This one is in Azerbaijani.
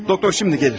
Həkim indi gəlir.